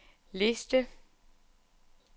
liste